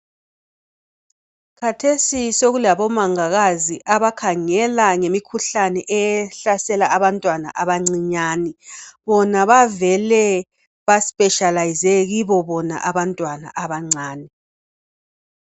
Khathesi sokulabomanga kazi abakhangela ngemikhuhlane ehlasela abantwana abancinyane. Bona bavele baspeshiyalayize kibo bona abantwana abancane.